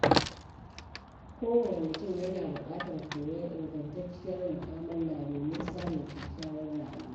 Kowane mutum yana buƙatar koyon ingantacciyar mu'amala domin samun kyakkyawar rayuwa.